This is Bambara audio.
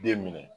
Den minɛ